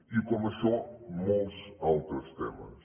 i com això molts altres temes